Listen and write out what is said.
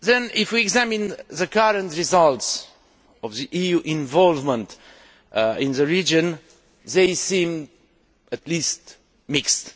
If we examine the current results of EU involvement in the region, they seem at least mixed.